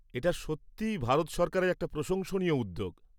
এটা সত্যিই ভারত সরকারের একটা প্রশংসনীয় উদ্যোগ।